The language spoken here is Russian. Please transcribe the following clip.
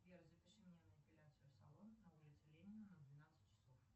сбер запиши меня на эпиляцию в салон на улице ленина на двенадцать часов